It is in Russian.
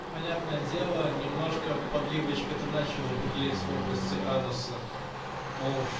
понятное дело немножко подливочка то начала бурлеть в области ануса мол чт